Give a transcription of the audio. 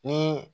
Ni